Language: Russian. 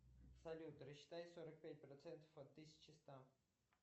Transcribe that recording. салют рассчитай сорок пять процентов от тысячи ста